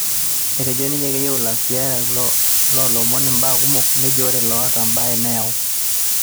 etejo ninye keyieu ilasirak lo lomon imbaa kumok, nejo ore loota imbaa neyau